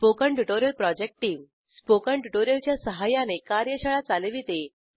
spoken tutorial project team spoken tutorial च्या सहाय्याने कार्यशाळा चालविते